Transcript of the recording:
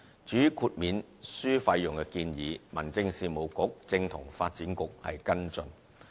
至於豁免書費用的建議，民政事務局正與發展局跟進。